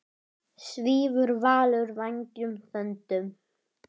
Svífur Valur vængjum þöndum?